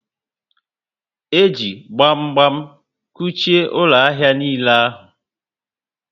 E ji gbam gbam kuchie ụlọ ahịa niile ahụ